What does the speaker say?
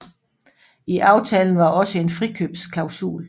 I aftalen var også en frikøbsklasul